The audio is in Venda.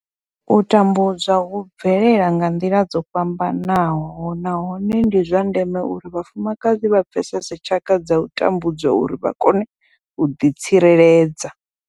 U tambudzwa hu bvelela nga nḓila dzo fhambanaho nahone ndi zwa ndeme uri vhafumakadzi vha pfesese tshaka dza u tambudzwa uri vha kone u ḓi tsireledza.